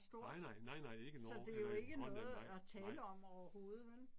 Nej nej, nej nej ikke nord eller i Grønland nej, nej